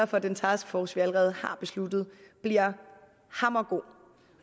for at den taskforce vi allerede har besluttet bliver hammergod